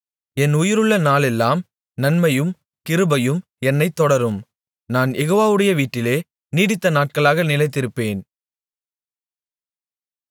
என் உயிருள்ள நாளெல்லாம் நன்மையும் கிருபையும் என்னைத் தொடரும் நான் யெகோவாவுடைய வீட்டிலே நீடித்த நாட்களாக நிலைத்திருப்பேன்